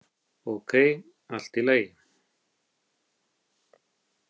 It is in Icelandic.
Ókei, allt í lagi.